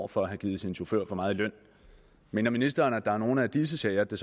for at have givet sin chauffør for meget i løn mener ministeren at der er nogle af disse sager det